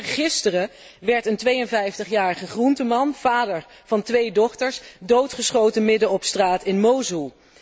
Eergisteren werd een 52 jarige groenteman, vader van twee dochters, doodgeschoten midden op straat in Mosoel.